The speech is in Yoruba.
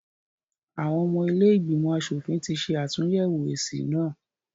Àwọn ọmọ ilé ìgbìmọ̀ asòfin ti ṣe àtúnyẹ̀wò èsì náà.